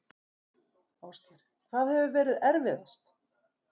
Ásgeir: Hvað hefur verið erfiðast?